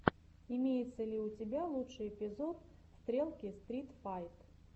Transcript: имеется ли у тебя лучший эпизод стрелки стрит файт